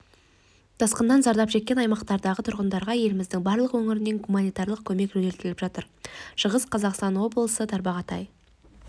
тасқыннан зардап шеккен аймақтардағы тұрғындарға еліміздің барлық өңірінен гуманитарлық көмек жөнелтіліп жатыр шығыс қазақстан облысы тарбағатай